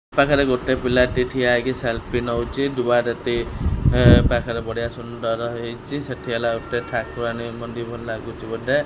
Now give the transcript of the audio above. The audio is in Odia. ପାଖରେ ଗୋଟେ ପିଲାଟେ ଠିଆ ହେଇକି ସେଲଫି ନେଉଛି ଦୁଆର ଟି ପାଖରେ ବଢ଼ିଆ ସୁନ୍ଦର ହେଇଛି ସେଠି ହେଲା ଗୋଟେ ଠାକୁରାଣୀ ମନ୍ଦିର ଭଳି ଲାଗୁଛି ବୋଧେ।